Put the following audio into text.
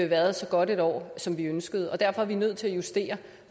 været så godt et år som vi ønskede og derfor er vi nødt til at justere